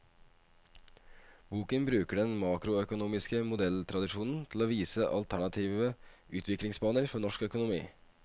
Boken bruker den makroøkonomiske modelltradisjonen til å vise alternative utviklingsbaner for norsk økonomi.